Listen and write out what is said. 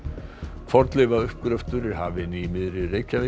fornleifauppgröftur er hafinn í miðri Reykjavík